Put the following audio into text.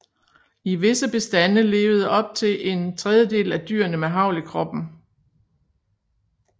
I visse bestande levede op til en tredjedel af dyrene med hagl i kroppen